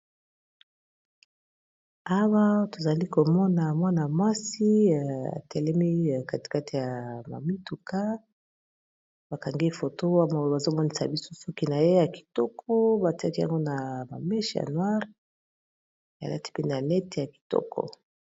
Awa tozali komona mwana mwasi atelemi katikate ya ba mituka bakangi photo wa maolo bazomonisa bisu soki na ye ya kitoko batiaki yango na mameshe yanoari elati mpene net ya kitoko